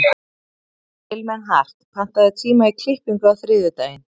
Vilmenhart, pantaðu tíma í klippingu á þriðjudaginn.